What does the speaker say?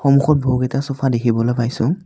সন্মুখত বহুকেইটা চফা দেখিবলৈ পাইছোঁ।